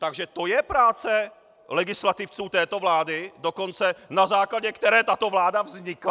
Takže to je práce legislativců této vlády, dokonce na základě které tato vláda vznikla?